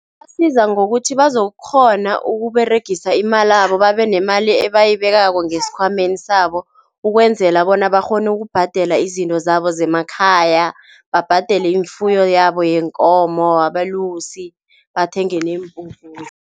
Ibasiza ngokuthi bazokukghona ukuberegisa imalabo babenemali ebayibekako ngesikhwameni sabo, ukwenzela bona bakghone ukubhadela izinto zabo zemakhaya, babhadele ifuyo yabo yeenkomo, abalusi, bathenge neempuphu.